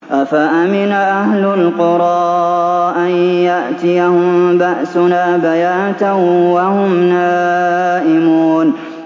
أَفَأَمِنَ أَهْلُ الْقُرَىٰ أَن يَأْتِيَهُم بَأْسُنَا بَيَاتًا وَهُمْ نَائِمُونَ